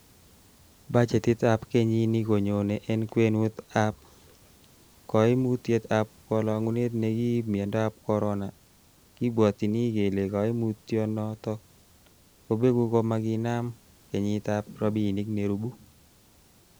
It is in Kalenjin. Bachetitab kenyini konyone en kwenutab ab koimutiet ab kolongunet nekiib miondob Corona, kibwotyin kele koimutyo noton kobeku komakinam kenyitab rabinik nerubu.